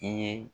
I ye